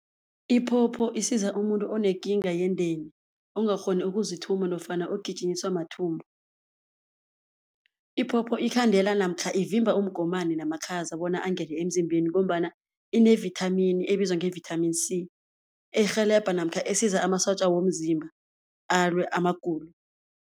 Iphopho isiza umuntu onekinga yendeni, ongakghoni ukuzithuma nofana ogijinyiswa mathumbu. Iphopho ikhandela namkha ivimba umgomani namakhaza bonyana angene emzimbeni ngombana inevithamini ebizwa nge-Vitamin C, erhelebha namkha esiza amasotja womzimba alwe amagulo.